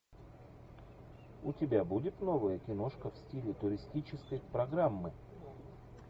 у тебя будет новая киношка в стиле туристической программы